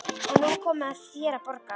Og nú er komið að þér að borga.